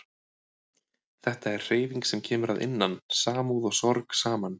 Þetta er hreyfing sem kemur að innan, samúð og sorg saman